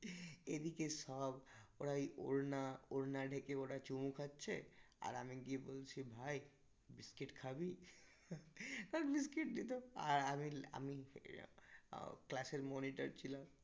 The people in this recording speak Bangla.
এদিকে সব ওরা এই ওড়না ওড়না ঢেকে ওরা চুমু খাচ্ছে আর আমি গিয়ে বলছি ভাই biscuit খাবি? আর biscuit দিতো আর আমি আমিই class এর monitor ছিলাম